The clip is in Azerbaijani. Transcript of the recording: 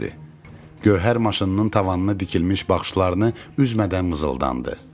Gövhər maşınının tavanına dikilmiş baxışlarını üzmədən mızıldandı.